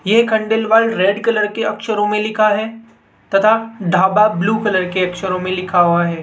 एक Khandelwal red colour के अक्षरों में लिखा है तथा ढाबा ब्लू कलर के अक्षरों में लिखा हुआ है।